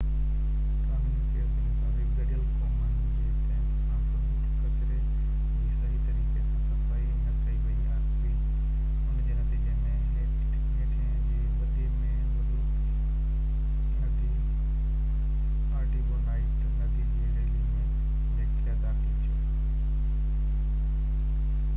قانوني ڪيس جي مطابق گڏيل قومن جي ڪئمپ کان فضول ڪچري جي صحيح طريقي سان صفائي نه ڪئي وئي هئي ان جي نتيجي ۾ هيٽي جي وڏي ۾ وڏو ندي آرٽيبونائيٽ ندي جي ريلي ۾ بيڪٽيريا داخل ٿيو